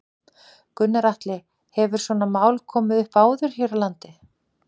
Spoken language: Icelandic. Gunnar Atli: Hefur svona mál komið upp áður hér á landi?